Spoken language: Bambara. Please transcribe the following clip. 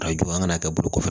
Arajo an kana kɛ bolo kɔfɛ